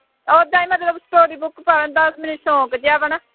ਉਹ ਤਾਂ ਹੀ ਮਤਲਬ story book ਪੜ੍ਹਨ ਦਾ ਮੈਨੂੰ ਸੌਂਕ ਜਿਹਾ ਵਾ ਨਾ